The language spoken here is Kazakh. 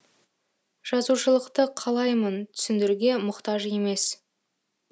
жазушылықты қалаймын түсіндіруге мұқтаж емес